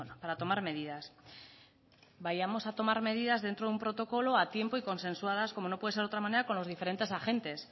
para tomar medidas vayamos a tomar medida dentro de un protocolo a tiempo y consensuadas como no puede ser de otra manera con los diferentes agentes